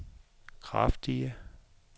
kraftige